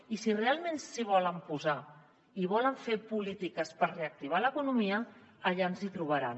i si realment s’hi volen posar i volen fer polítiques per reactivar l’economia allà ens hi trobaran